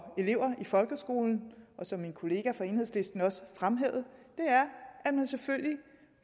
elever i folkeskolen og som min kollega fra enhedslisten også fremhævede er at man selvfølgelig